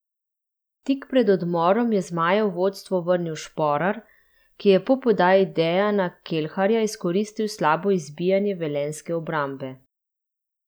Tik pred odmorom je zmaje v vodstvo vrnil Šporar, ki je po podaji Dejana Kelharja izkoristil slabo izbijanje velenjske obrambe.